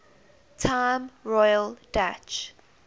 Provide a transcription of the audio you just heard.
time royal dutch